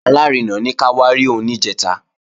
Alárinà ní ká wá rí òun níjẹ̀ta